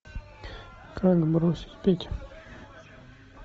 как бросить пить